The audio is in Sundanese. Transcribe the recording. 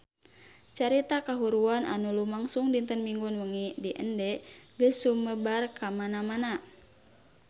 Carita kahuruan anu lumangsung dinten Minggon wengi di Ende geus sumebar kamana-mana